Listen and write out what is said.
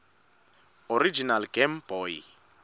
original game boy